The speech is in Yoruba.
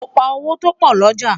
mọ pá owó topo l'ọja